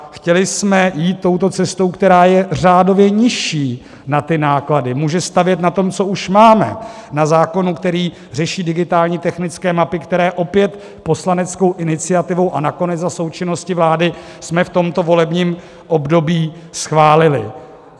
Chtěli jsme jít touto cestou, která je řádově nižší na ty náklady, může stavět na tom, co už máme, na zákonu, který řeší digitální technické mapy, které opět poslaneckou iniciativou a nakonec za součinnosti vlády jsme v tomto volebním období schválili.